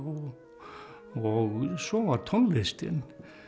og svo var tónlistin